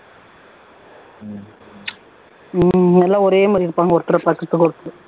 உம் எல்லாம் ஒரே மாதிரி இருப்பாங்க ஒருத்தர ஒருத்தர்